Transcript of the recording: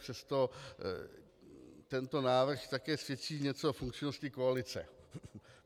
Přesto tento návrh také svědčí něco o funkčnosti koalice.